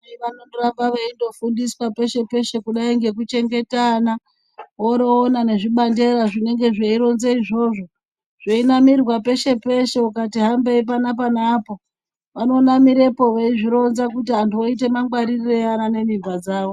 Vanondoramba veindofundiswa peshe peshe kudai ngekuchengeta ana. Woroona nezvibandera zvinenge zveironze izvozvo, zveinamirwe peshe-peshe ukati hambei panapa neapo vanonamirepo veizvironza kuti vantu vaite mungwaririrei vana nemimba dzavo.